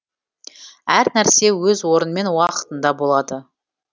әр нәрсе өз орнымен уақытында болады